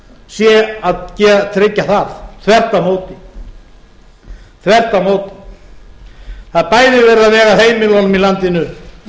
sé að tryggja það þvert á móti það er bæði verið að vega að heimilunum í landinu